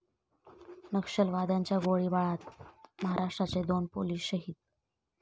नक्षलवाद्यांच्या गोळीबारात महाराष्ट्राचे दोन पोलीस शहीद